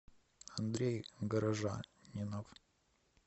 андрей горожанинов